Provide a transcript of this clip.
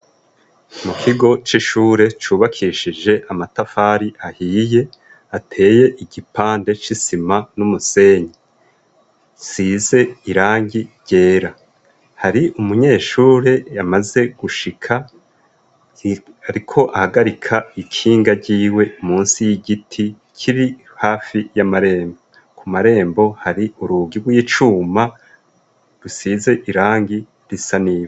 Mu kigo c'ishure cubakishije amatafari ahiye ateye igipande c'isima n'umusenyi size irangi ryera hari umunyeshure yamaze gushika, ariko ahagarika ikinga ryiwe musi y'igiti kiri hafi y'amarembo ku marembo hari urugi rw'icuma rusize irangi risaniye.